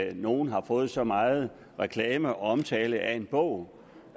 at nogen har fået så meget reklame og omtale af en bog